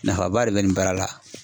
Nafaba de bɛ nin baara la